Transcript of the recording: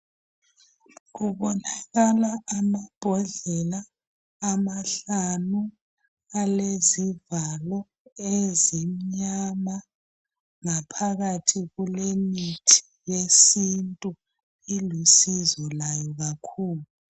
Kubonakala amabhodlela amahlanu alezivalo ezimnyama ngaphakathi kulemithi yesintu ilusizo layo kakhulu.